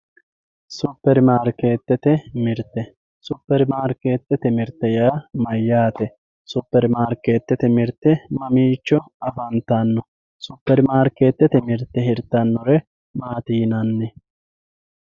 superi maarikeetete mirte superi maarikeetete mirte yaa mayyaate sperimaarikeetete mirte mamiichoafantanno superimarikeetete mirte hirtannore maati yinanni